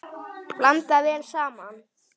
Blandað vel saman.